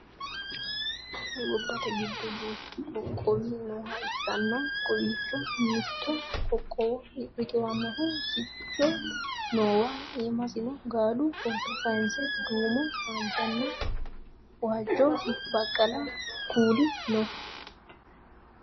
gobbate giddo duuchu qoqqowi nooha ikkana kowiicho mitto qoqqowo riqiwannohu siccu noowa iimasino gaalu footo kayiinse duumo haanjanna waajjo baqqala kuuli no